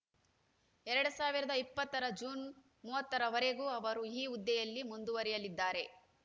ಎರಡ್ ಸಾವಿರದ ಇಪ್ಪತ್ತರ ಜೂನ್‌ ಮೂವತ್ತರ ವರೆಗೂ ಅವರು ಈ ಹುದ್ದೆಯಲ್ಲಿ ಮುಂದುವರಿಯಲಿದ್ದಾರೆ